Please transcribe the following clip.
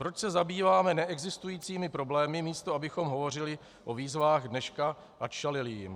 Proč se zabýváme neexistujícími problémy, místo abychom hovořili o výzvách dneška a čelili jim?